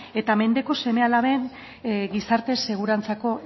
eta mendeku seme alaben gizarte segurantzako